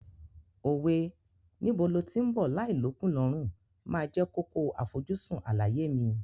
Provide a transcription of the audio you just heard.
Òwe "Níbo lo tí ń bọ̀ láì l'ókùn l'ọ́rùn" máa jẹ́ kókó àfojúsùn àlàyé mi.